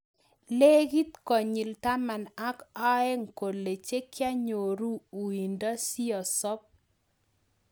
Legit konyil taman ak oeng kolee chekianyoruu uindoo siosoop